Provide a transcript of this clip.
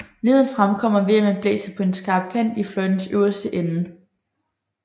Lyden fremkommer ved at man blæser på en skarp kant i fløjtens øverste ende